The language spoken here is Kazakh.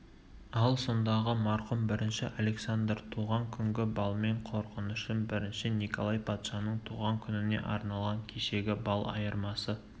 ал сондағы марқұм бірінші александр туған күнгі балмен қорғанышым бірінші николай патшаның туған күніне арналған кешегі бал айырмасы